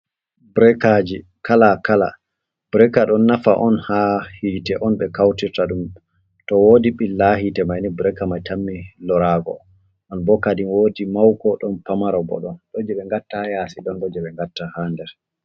Bureekaaji kala kala bureka ɗon nafa on haa hiite on, ɓe kawtirta ɗum to woodi ɓilla hiite may ni. Bureka man tammi loraago on bo kadin, woodi mawko, ɗon pamara bo ɗon ,ɗon jey ɓe ngatta haa yasi ,ɗon bo jey ɓe ngatta haa nder.